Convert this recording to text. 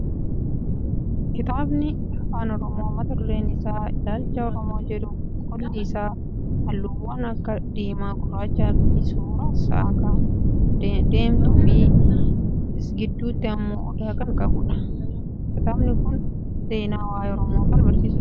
KItaabni afaan oromoo mata dureen isaa Ilaalcha Oromoo jedhu qolli isaa halluuwwan akka diimaa, gurraachaa fi suuraa sa'aakan deemtuu fi gidduutti immoo odaa kan qabudha. Kitaabni kun seenaa waayee oromoo kan barsiisudha.